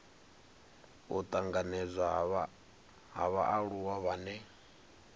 u tanganedzwa ha vhaaluwa vhane